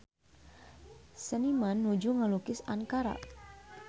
Seniman nuju ngalukis Ankara